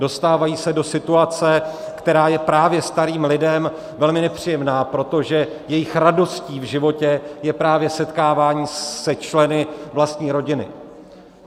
Dostávají se do situace, která je právě starým lidem velmi nepříjemná, protože jejich radostí v životě je právě setkávání se členy vlastní rodiny.